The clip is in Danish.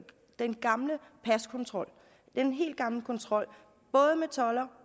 den gamle paskontrol både med toldere